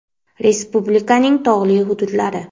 Respublikaning tog‘li hududlari.